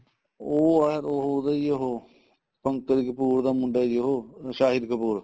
ਉਹ ਏ ਉਹਦਾ ਈ ਏ ਉਹ ਪੰਕਜ ਕਪੂਰ ਦਾ ਮੁੰਡਾ ਜੀ ਉਹ ਸ਼ਾਹੀਦ ਕਪੂਰ